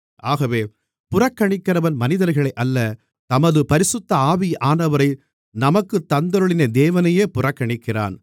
ஆகவே புறக்கணிக்கிறவன் மனிதர்களை அல்ல தமது பரிசுத்த ஆவியானவரை நமக்குத் தந்தருளின தேவனையே புறக்கணிக்கிறான்